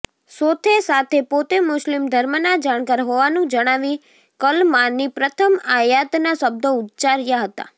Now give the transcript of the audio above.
સોથે સાથે પોતે મુસ્લિમ ધર્મના જાણકાર હોવાનું જણાવી કલમાની પ્રથમ આયાતના શબ્દો ઉચ્ચાર્યા હતાં